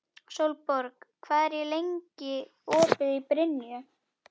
Sólborg, hvað er lengi opið í Brynju?